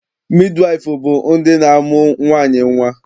Midiwaịfụ bụ ndị na-amụ nwaanyị nnwa.